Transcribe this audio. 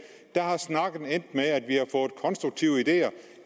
er snakken endt med at vi har fået konstruktive ideer